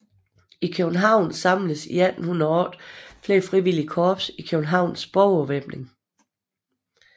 I København samledes i 1808 flere frivillige korps i Københavns Borgervæbning